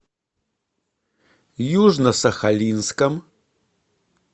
южно сахалинском